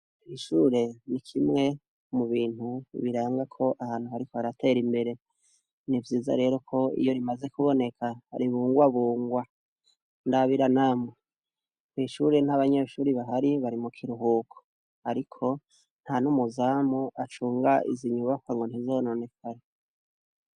Ishure n'ikimwe mu bintu biranga ko ahantu hariko haratera imbere. Nivyiza rero ko iyo rimaze kuboneka, ribungwabungwa. Ndabira namwe, kw'ishure nt'abanyeshure bahari, bari mu kiruhuko ariko nta n'umuzamu acuga izi nyubakwa ngo ntizononekare.